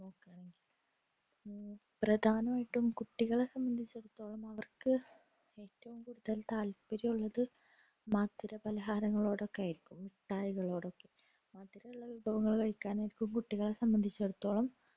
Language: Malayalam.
പ്രധാനമായിട്ടും കുട്ടികളെ സംബന്ധിച്ചിടത്തോളം അവർക്ക് ഏറ്റവും കൂടുതൽ താത്പര്യവുമുള്ളത് മധുര പലഹാരങ്ങളോടോക്കെയായിരിക്കും മിട്ടായികളോടൊക്കെ മധുരുള്ള വിഭവങ്ങൾ കഴിക്കാൻ ആയിരിക്കും കുട്ടികളെ സംബന്ധിച്ചിടത്തോളം